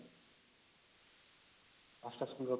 ୫ଟା school ର ପିଲା